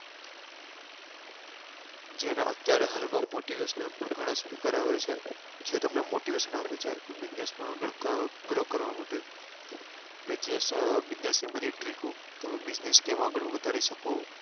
જેના અત્યારે હાલ માં motivational પણ ગણા speaker ઓ આવે છે જે તમને motivation આપે છે business માં આગળ grow કરવા માટે business business ની બધી trick ઓ તમે business કેમ આગળ વધારી શકો